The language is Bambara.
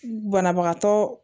Banabagatɔ